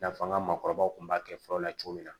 I n'a fɔ an ka maakɔrɔbaw tun b'a kɛ fɔlɔ la cogo min na